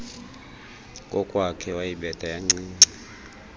kokwakhe wayibetha yancinci